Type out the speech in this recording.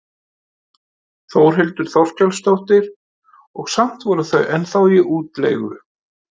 Þórhildur Þorkelsdóttir: Og samt voru þau ennþá í útleigu?